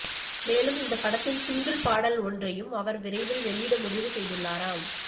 மேலும் இந்த படத்தின் சிங்கிள் பாடல் ஒன்றையும் அவர் விரைவில் வெளியிட முடிவு செய்துள்ளாராம்